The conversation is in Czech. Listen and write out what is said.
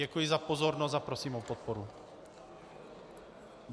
Děkuji za pozornost a prosím o podporu.